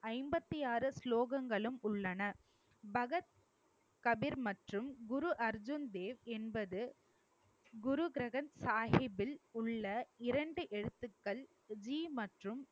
ஐம்பத்தி ஆறு ஸ்லோகங்களும் உள்ளன. பகத் கபீர் மற்றும் குரு அர்ஜுன் தேவ் என்பது குரு கிரந்த சாஹிப்பில் உள்ள இரண்டு எழுத்துக்கள்